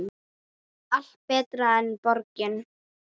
Allt betra en borgin.